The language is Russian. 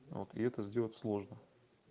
вот и это сделать сложно